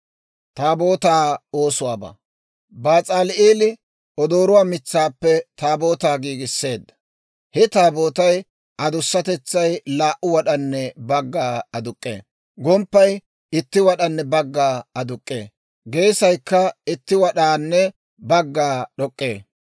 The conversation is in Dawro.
Bas'aali'eeli odooruwaa mitsaappe Taabootaa giigisseedda. He Taabootay adussatetsay laa"u wad'anne bagga aduk'k'ee; gomppay itti wad'anne bagga aakkee; geesaykka itti wad'anne bagga d'ok'k'ee.